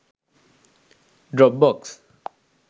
dropbox